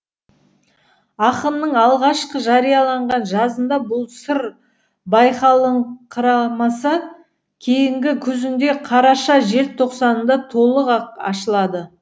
ақынның алғашқы жарияланған жазында бұл сыр байқалыңқырамаса кейінгі қүзінде қараша жел тоқсанында толық ақ ашылады